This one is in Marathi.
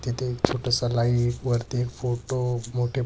तिथे एक छोटासा लाइट वरती फोटो मोठे--